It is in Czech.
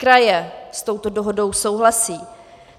Kraje s touto dohodou souhlasí.